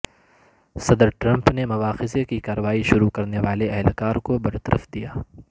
صدر ٹرمپ نے مواخذے کی کارروائی شروع کرنے والے اہلکار کو برطرف دیا